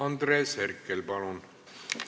Andres Herkel, palun!